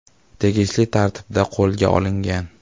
tegishli tartibda qo‘lga olingan.